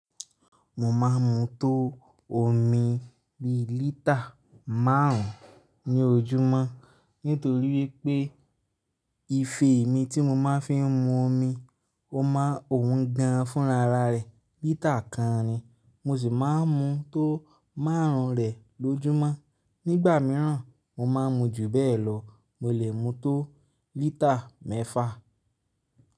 Mo máa ń mu tó omi bíi lítà márùn ún ní ojúmọ́. Nítórí pé, ife mi tí mo máa ń fi mu omi, o máa ń òun gan fúnraara rẹ̀ lítà kan ni. Mo sì máa ń mu tó márùn -un rẹ̀ lójúmọ́. Nígbà mìíràn, mo máa ń mu jù bẹ́ẹ̀ lọ. Mo lè mu tó lítà mẹ́fà.